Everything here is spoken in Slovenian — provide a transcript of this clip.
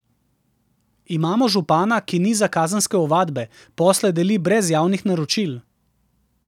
Imamo župana, ki niza kazenske ovadbe, posle deli brez javnih naročil.